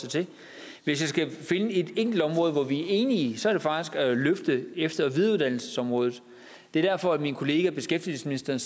sig til hvis jeg skal finde et enkelt område hvor vi er enige så er det faktisk at løfte efter og videreuddannelsesområdet det er derfor min kollega beskæftigelsesministeren